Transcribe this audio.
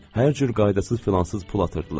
Hər cür qaydasız-filansız pul atırdılar.